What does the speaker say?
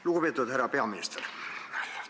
Lugupeetud härra peaminister!